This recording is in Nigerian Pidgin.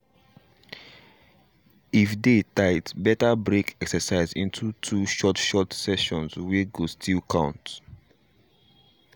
if day tight better break exercise into two short short session wey go still count.